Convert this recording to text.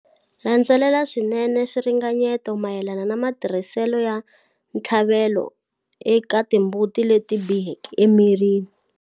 Landzelela swinene swiringanyeto mayelana na matirhiselo ya ntshlavelo eka timbuti leti biheke emirini.